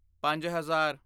ਪੰਜ ਹਜ਼ਾਰ